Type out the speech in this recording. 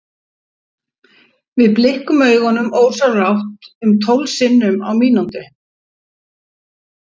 við blikkum augunum ósjálfrátt um tólf sinnum á mínútu